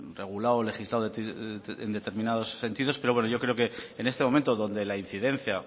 regulado legislado en determinados sentidos pero bueno yo creo que en este momento donde la incidencia